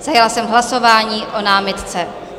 Zahájila jsem hlasování o námitce.